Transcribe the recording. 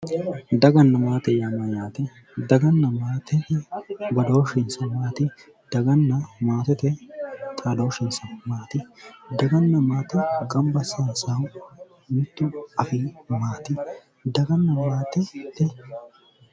Daganna maate yaannohu yaate, Daganna maate badooshinsa maatu? Daganna maatete xaadooshinsa maati? Daganna maate gamba assaansahu mittu ayii maati, Daganna maatete